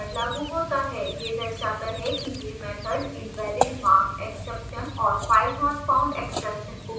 यह दर्शाता है कि यह मैथड invalidmarkexception और filenotfoundexception को बढायेगा